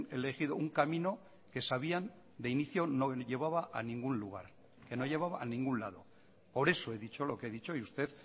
elegido un camino que sabían de inicio no llevaba a ningún lugar que no llevaba a ningún lado por eso he dicho lo que he dicho y usted